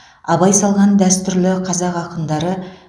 абай салған дәстүрлі қазақ ақындары